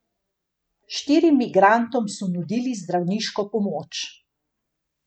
Štirim migrantom so nudili zdravniško pomoč.